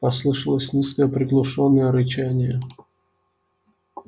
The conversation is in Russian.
послышалось низкое приглушённое рычание